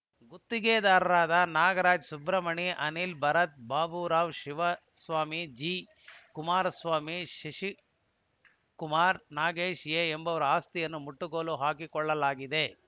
ಗುತ್ತಿಗೆದಾರರಾದ ನಾಗರಾಜ್‌ ಸುಬ್ರಮಣಿ ಅನಿಲ್‌ ಭರತ್‌ ಬಾಬುರಾವ್‌ ಶಿವಸ್ವಾಮಿ ಜಿಕುಮಾರಸ್ವಾಮಿ ಶಶಿಕುಮಾರ್‌ ನಾಗೇಶ್‌ ಎಂಬುವವರ ಆಸ್ತಿಯನ್ನು ಮುಟ್ಟುಗೋಲು ಹಾಕಿಕೊಳ್ಳಲಾಗಿದೆ